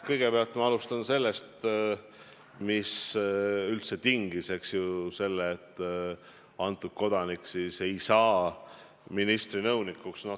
Kõigepealt ma alustan sellest, mis üldse tingis selle, et see kodanik ei saa ministri nõunikuks.